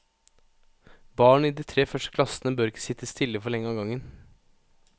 Barn i de tre første klassene bør ikke sitte stille for lenge av gangen.